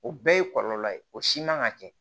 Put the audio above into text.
O bɛɛ ye kɔlɔlɔ ye o si man ka kɛ